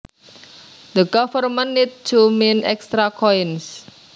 The government need to mint extra coins